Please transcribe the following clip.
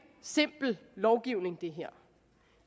simpel lovgivning det